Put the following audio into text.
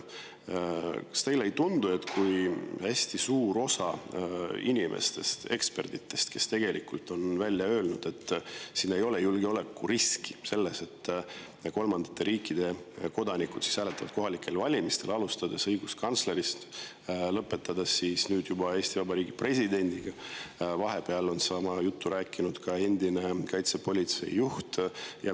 Hästi suur osa ekspertidest, alustades õiguskantslerist ja lõpetades Eesti Vabariigi presidendiga, on öelnud, et ei ole julgeolekuriski selles, kui kolmandate riikide kodanikud hääletavad kohalikel valimistel, ning vahepeal on sama juttu rääkinud ka endine kaitsepolitsei juht.